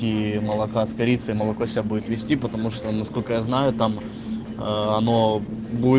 молока с корицей молоко все будет вести потому что насколько я знаю там она